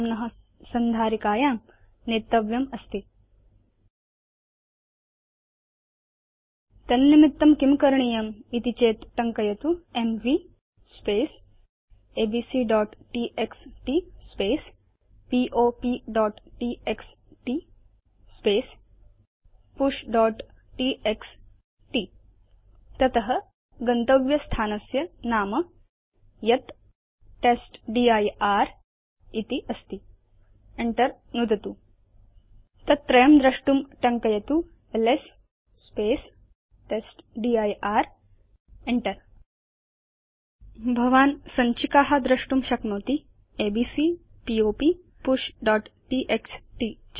नाम्न संधारिकायां नेतव्यमस्ति तन्निमित्तं किं करणीयम् इति चेत् टङ्कयतु एमवी abcटीएक्सटी popटीएक्सटी pushटीएक्सटी तत गन्तव्य स्थानस्य नाम यत् टेस्टदिर् इति अस्ति enter नुदतु च तत् त्रयं द्रष्टुं टङ्कयतु एलएस टेस्टदिर् enter नुदतु च भवान् सञ्चिका द्रष्टुं शक्नोति एबीसी पॉप pushटीएक्सटी